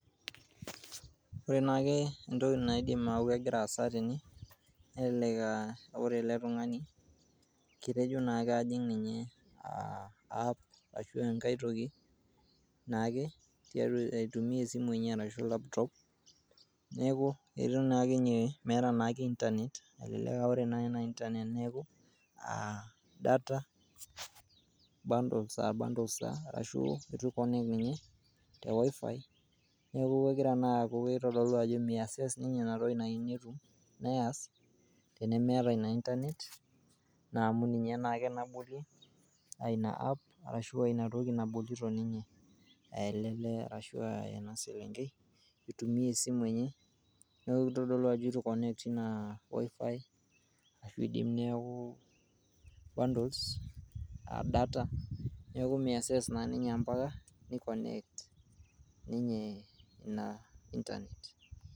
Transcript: Ore naake entoki naidim aaku kegira aasa tene ,nelelek aa ore ele tungani ,ketejo naake ajing ninye app ashu enkae toki naake naitumia tiatua esimu enye arashu laptop. Neeku naa inye meetaa naa ke internet. Elelek aa ore Ina internet neeku ,aa data bundles arashu ikonect ninye te wifi. neeku kegira naa aaku aitodolu Ajo me access ninye inatoki.